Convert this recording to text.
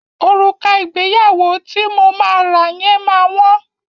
Òrùka ìgbéyàwó ti mo máa rà yẹn ma wọ́n.